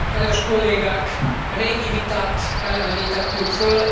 Kedves Kollégák! Régi vitát elevenítettünk föl.